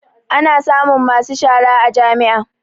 Ana samun masu shara a jami'a